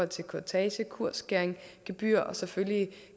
til kurtage kursskæring gebyr og selvfølgelig